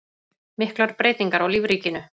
Miklar breytingar á lífríkinu